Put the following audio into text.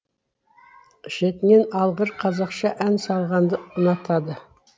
шетінен алғыр қазақша ән салғанды ұнатады